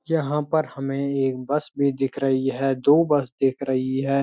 यहाँ पर हमें एक बस भी दिख रही है दो बस दिख रही है।